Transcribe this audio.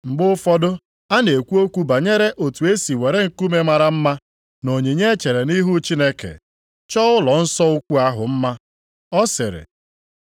Mgbe ụfọdụ na-ekwu okwu banyere otu e si were nkume mara mma na onyinye e chere nʼihu Chineke, chọọ ụlọnsọ ukwu ahụ mma, ọ sịrị,